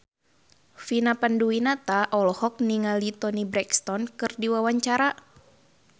Vina Panduwinata olohok ningali Toni Brexton keur diwawancara